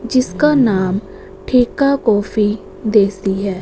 जिसका नाम ठेका कॉफी देसी है।